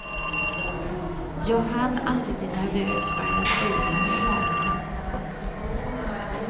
Jag hann aldrig bli nervös förrän jag stod inför kamerorna. punkt